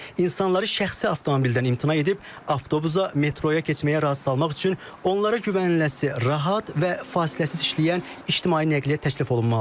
İnsanları şəxsi avtomobildən imtina edib, avtobusa, metroyaya keçməyə razı salmaq üçün onlara güvəniləsi, rahat və fasiləsiz işləyən ictimai nəqliyyat təklif olunmalıdır.